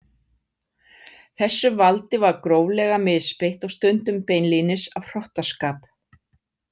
Þessu valdi var gróflega misbeitt og stundum beinlínis af hrottaskap.